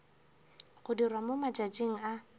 go dirwa mo matšatšing a